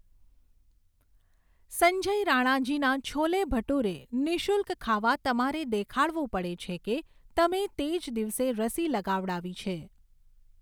સંજય રાણાજીના છોલે ભટુરે નિઃશુલ્ક ખાવા તમારે દેખાડવું પડે છે કે તમે તે જ દિવસે રસી લગાવડાવી છે.